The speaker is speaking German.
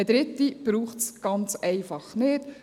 Eine dritte braucht es ganz einfach nicht.